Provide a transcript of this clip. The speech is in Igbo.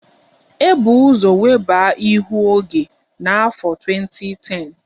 E bu ụzọ weba ihu oge n'afọ 2010